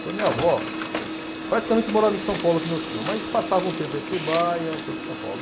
Então minha avó praticamente morava em São Paulo com meu tio, mas passava um tempo em Atibaia, um tempo em São Paulo.